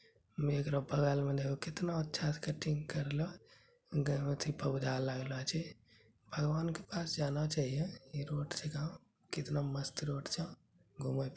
में एकरो बगल मे देखो केतना अच्छा से कटिंग करलो भगवान के पास जाना चाहिए---